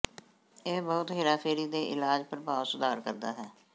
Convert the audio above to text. ਇਹ ਬਹੁਤ ਹੇਰਾਫੇਰੀ ਦੇ ਇਲਾਜ ਪ੍ਰਭਾਵ ਸੁਧਾਰ ਕਰਦਾ ਹੈ